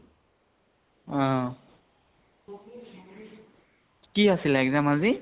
অ । কি আছিল exam আজি